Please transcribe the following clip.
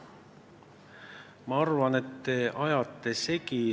Ma arvan, et te ajate midagi segi.